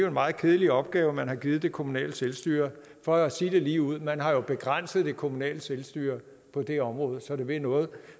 en meget kedelig opgave man har givet det kommunale selvstyre for at sige det ligeud man har begrænset det kommunale selvstyre på det område så det vil noget